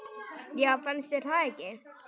Já, fannst þér það ekki?